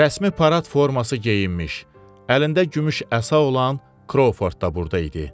Rəsmi parad forması geyinmiş, əlində gümüş əsa olan Kroford da burda idi.